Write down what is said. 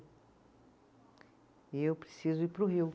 E eu preciso ir para o Rio.